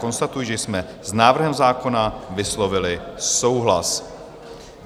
Konstatuji, že jsme s návrhem zákona vyslovili souhlas.